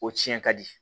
O tiɲɛ ka di